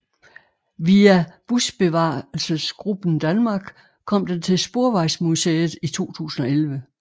Via Busbevarelsesgruppen Danmark kom den til Sporvejsmuseet i 2011